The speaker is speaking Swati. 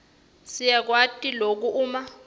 siyakwati loku uma